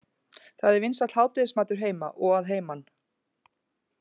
Það er vinsæll hádegismatur heima og að heiman.